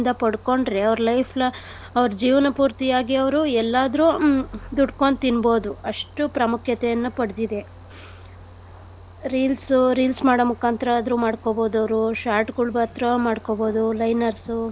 ಪಡ್ಕೊಂಡ್ರೆ ಅವ್ರ್ life lo~ ಅವ್ರ್ ಜೀವನ ಪೂರ್ತಿಯಾಗಿ ಅವ್ರು ಎಲ್ಲಾದ್ರು ಹ್ಮ್ ದುಡ್ಕೊಂಡು ತಿನ್ಬೋದು ಅಷ್ಟು ಪ್ರಾಮುಖ್ಯತೆಯನ್ನ ಪಡ್ದಿದೆ . Reels reels ಮಾಡೋ ಮುಖಾಂತರ ಆದ್ರು ಮಾಡ್ಕೊಬೋದು ಅವ್ರು. short ಗುಳ್ ಮಾಡ್ಕೊಬೋದು liners ಉ.